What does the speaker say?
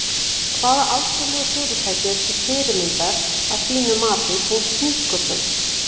Hvaða alþjóðlegu fyrirtæki eru til fyrirmyndar að þínu mati tengt nýsköpun?